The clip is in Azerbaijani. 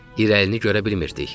İrəlini görə bilmirdik.